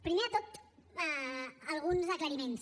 primer de tot alguns aclariments